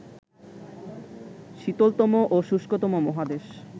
শীতলতম ও শুষ্কতম মহাদেশ